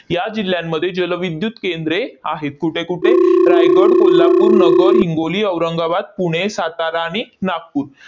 या जिल्ह्यांमध्ये जलविद्युत केंद्रे आहेत. कुठे-कुठे? रायगड, कोल्हापूर, नगर, हिंगोली, औरंगाबाद, पुणे, सातारा आणि नागपूर